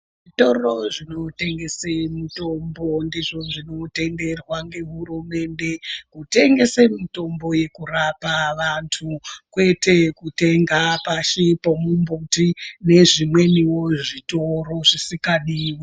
Zvitoro zvinotengese mitombo ndizvo zvinotenderwa ngehurumende, kutengese mitombo yekurapa vantu, kwete kutenga pashi pomumbuti nezvimweniwo zvitoro zvisikadiwi.